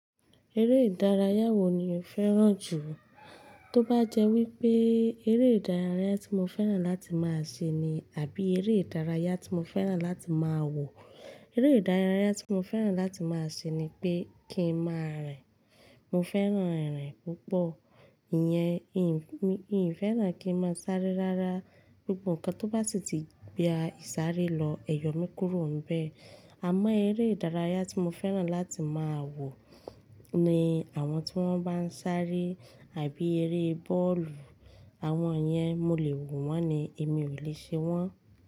Eré ìdárayá wo ni o fẹ́ràn jù? Tó bá jẹ́ wípé eré ìdárayá tí mo fẹ́ràn láti máa ṣe ni àbí eré ìdárayá tí mo fẹ́ràn láti máa wò. Eré ìdárayá tí mo fẹ́ràn láti máa ṣe ni pé kí n máa rìn. Mo fẹ́ràn ìrìn púpọ̀, ìyẹn n mi-n ì fẹ́ràn kí n máa sáré rárá. Gbogbo ǹkan tó bá si tìí gba ìsáré lọ, ẹ̀yọ̀ mi kúrò nbẹ̀. Àmọ́ eré ìdárayá tí mo fẹ́ràn láti máa wò ni àwọn tí wọ́n bá ń sáré àbí eré bọ́ọ̀lù. Àwọn yẹn mo lè wò wọ́n ni, èmi ò lè ṣe wọ́n.